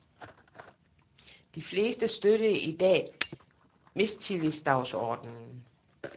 De fleste støttede i dag mistillidsdagsordenen.